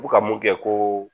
U bɛ ka mun kɛ ko